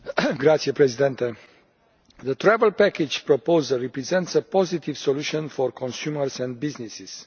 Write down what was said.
Mr President, the travel package proposal represents a positive solution for consumers and businesses.